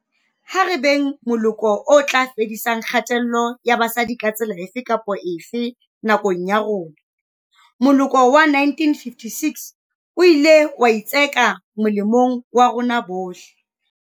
Ha re beng moloko o tla fedisang kgatello ya basadi ka tsela efe kapa efe, nakong ya rona. Moloko wa 1956 o ile wa itseka molemong wa rona bohle.